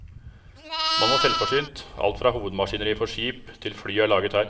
Man var selvforsynt, alt fra hovedmaskineriet for skip, til fly er laget her.